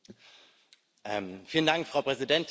Frau Präsidentin, Herr Kommissar!